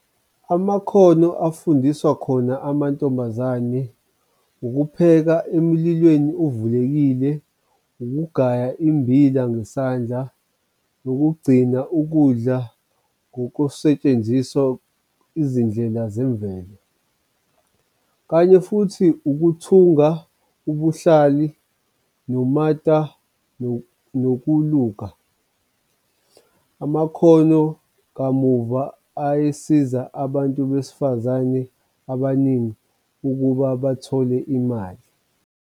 Amakhono afundisa khona amantombazane, ukupheka emlilweni ovulelekile, ukugaya immbila ngesandla, ukugcina ukudla ngokusetshenziswa izindlela zemvelo, kanye futhi ukuthunga ubuhlali nomata ngokuluka. Amakhono kamuva ayesiza abantu besifazane abaningi ukuba bathole imali.